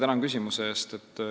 Tänan küsimuse eest!